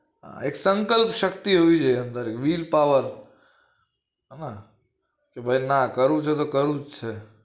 એક સંકલ્પશક્તિ હોવી જોઈએ will power હા કે ભાઈ ના કરવું છે કે કરવું જ છે